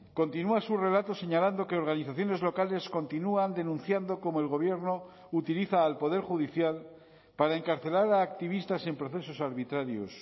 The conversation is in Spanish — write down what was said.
continúa su relato señalando que organizaciones locales continúan denunciando como el gobierno utiliza al poder judicial para encarcelar a activistas en procesos arbitrarios